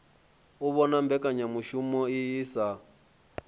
u vhona mbekanyamushumo iyi sa